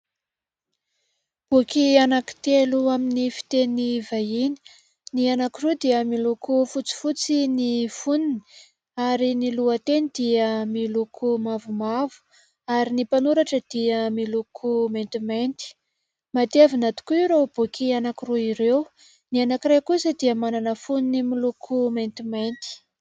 Boky anankitelo amin'ny fiteny vahiny. Ny anankiroa dia miloko fotsifotsy ny fonony ary ny lohateny dia miloko mavomavo, ary ny mpanoratra dia miloko maintimainty. Matevina tokoa ireo boky anankiroa ireo. Ny anankiray kosa dia manana fonony miloko maintimainty.